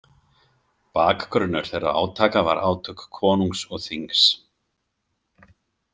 Bakgrunnur þeirra átaka var átök konungs og þings.